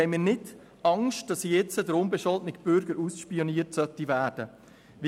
Gleichzeitig haben wir keine Angst, dass der unbescholtene Bürger nun ausspioniert werden soll.